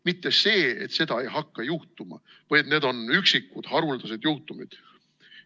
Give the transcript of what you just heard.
Mitte see, et seda ei hakka juhtuma või et need on üksikud haruldased juhtumid.